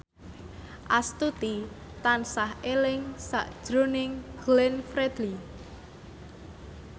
Astuti tansah eling sakjroning Glenn Fredly